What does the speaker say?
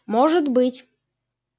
может быть